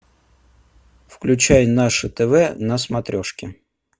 включай наше тв на смотрешке